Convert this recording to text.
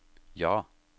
ja